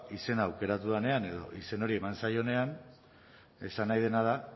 izena aukeratu denean edo izen hori eman zaionean esan nahi dena da